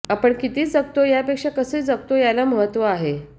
आपण किती जगतो यापेक्षा कसे जगतो याला महत्त्व आहे